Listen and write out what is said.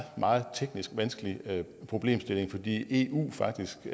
meget vanskelig problemstilling fordi eu faktisk